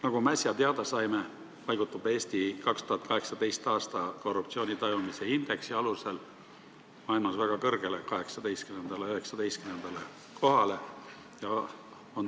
Nagu me äsja teada saime, paigutub Eesti 2018. aasta korruptsioonitajumise indeksi alusel maailmas väga kõrgele, 18. ja 19. kohale.